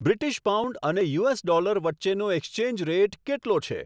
British pound અને US dollar વચ્ચેનો exchange rate કેટલો છે